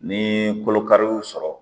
Ni kolokari y'u sɔrɔ